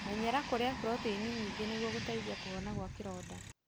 Menyera kũrĩa proteini nyingĩ nĩguo gũteithia kũhona gwa kĩronda.